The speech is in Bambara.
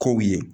Kow ye